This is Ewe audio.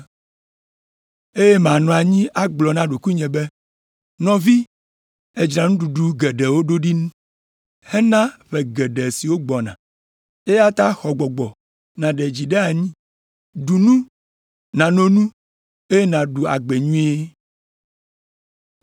Eye manɔ anyi agblɔ na ɖokuinye be, “Nɔvi èdzra nuɖuɖu geɖewo ɖo ɖi hena ƒe geɖe siwo gbɔna, eya ta xɔ gbɔgbɔ nàɖe dzi ɖe anyi, ɖu nu, nano nu, eye nàɖu agbe nyuie.” ’